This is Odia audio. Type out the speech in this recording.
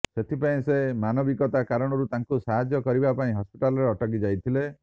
ସେଥିପାଇଁ ସେ ମାନବିକତା କାରଣରୁ ତାଙ୍କୁ ସାହାଯ୍ୟ କରିବା ପାଇଁ ହସ୍ପିଟାଲରେ ଅଟକି ଯାଇଥିଲେ